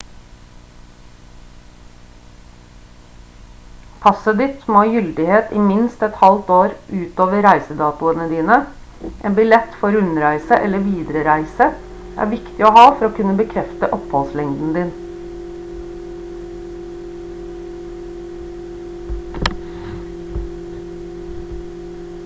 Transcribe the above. passet ditt må ha gyldighet i minst et halvt år utover reisedatoene dine en billett for rundreise eller viderereise er viktig å ha for å kunne bekrefte oppholdslengden din